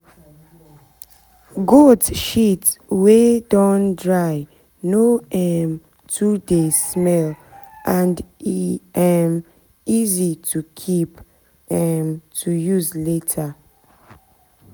goat shit wey don dry no um too dey smell and e um easy to keep um to use later